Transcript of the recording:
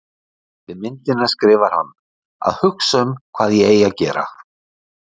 Við myndina skrifar hann: Að hugsa um hvað ég eigi að gera